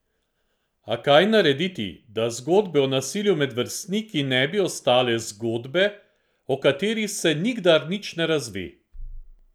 A kaj narediti, da zgodbe o nasilju med vrstniki ne bi ostale zgodbe, o katerih se nikdar nič ne razve?